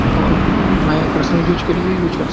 और में personal use के लिए यूज़ कर --